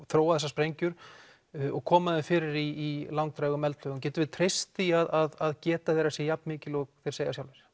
þróa þessar sprengjur og koma þeim fyrir í langdrægum eldflaugum getum við treyst því að geta þeirra sé jafnmikil og þeir segja sjálfir